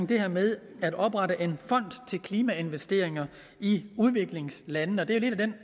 det her med at oprette en fond til klimainvesteringer i udviklingslandene det er lidt den